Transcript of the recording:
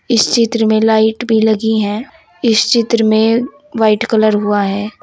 इस चित्र में लाइट भी लगी है इस चित्र में व्हाइट कलर हुआ है।